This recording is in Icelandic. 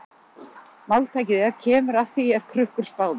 Máltækið er: Kemur að því er Krukkur spáði.